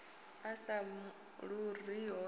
a sa ḓuriho a sa